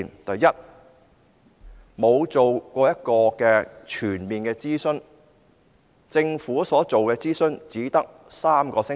第一，政府沒有進行全面諮詢，所進行的諮詢只為期3星期。